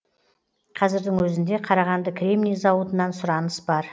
қазірдің өзінде қарағанды кремний зауытынан сұраныс бар